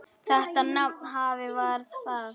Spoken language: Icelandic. Þetta nafn: hvað var það?